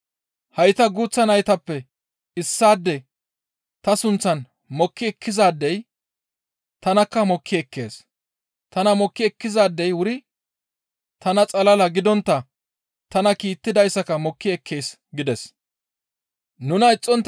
«Hayta guuththa naytappe issaade ta sunththan mokki ekkizaadey tanakka mokki ekkees; tana mokki ekkizaadey wuri tana xalala gidontta tana kiittidayssaka mokki ekkees» gides.